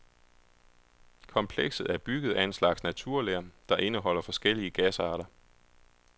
Komplekset er bygget af en slags naturler, der indeholder forskellige gasarter.